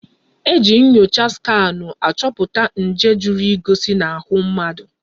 Eji nyocha skanụ achọpụta nje zoro ezo n'ahụ mmadụ.